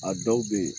A dɔw be yen